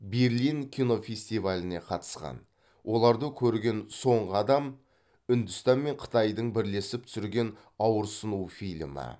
берлин кинофестиваліне қатысқан оларды көрген соңғы адам үндістан мен қытайдың бірлесіп түсірген ауырсыну фильмі